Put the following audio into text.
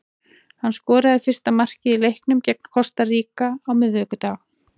Hann skoraði fyrsta markið í leiknum gegn Kosta Ríka á miðvikudag.